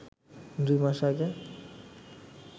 দুই মাস আগে